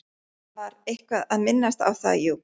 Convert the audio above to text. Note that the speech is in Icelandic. Hann var eitthvað að minnast á það, jú.